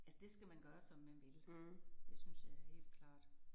Altså det skal man gøre som man vil. Det synes jeg helt klart